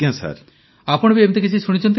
ପ୍ରଧାନମନ୍ତ୍ରୀ ଆପଣ ବି ଏମିତି କିଛି ଶୁଣିଛନ୍ତି କି